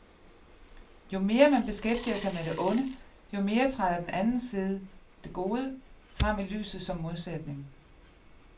Jo mere man beskæftiger sig med det onde, jo mere træder den anden side, det gode, frem i lyset som modsætning.